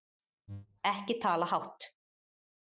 Ekki tala hátt!